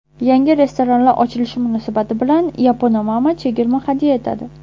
Yangi restoranlar ochilishi munosabati bilan Yaponamama chegirma hadya etadi!.